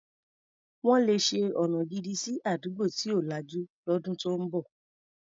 Wọ́n le ṣe ọna gidi sí àdúgbò tí ò lajú lọ́dún tó ń bọ̀.